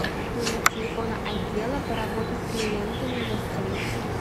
номер телефона отдела по работе с клиентами гостиницы